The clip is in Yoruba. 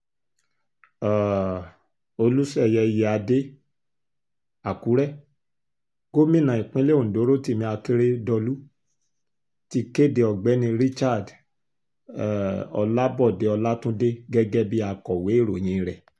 um olùṣeyẹ iyíáde àkúrẹ gómìnà ìpínlẹ̀ ondo rotimi akérẹdọ́lù ti kéde ọ̀gbẹ́ni richard um olabode ọlàtúndé gẹ́gẹ́ bíi akọ̀wé ìròyìn rẹ̀